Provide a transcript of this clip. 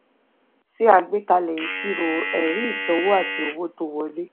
ṣe àgbékalẹ̀ ìṣirò ẹ̀rí ìsanwó àti owó tó wọlé.